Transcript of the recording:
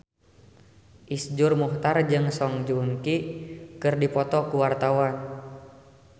Iszur Muchtar jeung Song Joong Ki keur dipoto ku wartawan